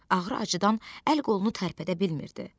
Ağrı acıdan əl qolunu tərpədə bilmirdi.